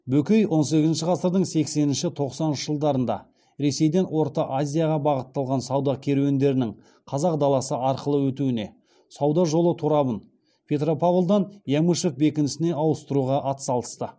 бөкей он сегізінші ғасырдың сексенінші тоқсаныншы жылдарында ресейден орта азияға бағытталған сауда керуендерінің қазақ даласы арқылы өтуіне сауда жолы торабын петропавлдан ямышев бекінісіне ауыстыруға атсалысты